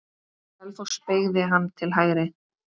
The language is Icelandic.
Selfoss beygði hann til hægri.